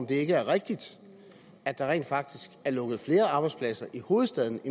det ikke rigtigt at der rent faktisk er lukket flere arbejdspladser i hovedstaden